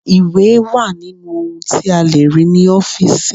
Ìwé wà nínú ohun tí a lè rí ní ọ́fíìsì.